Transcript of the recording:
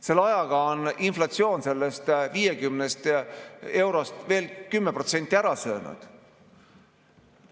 Selle ajaga on inflatsioon sellest 50 eurost veel 10% ära söönud.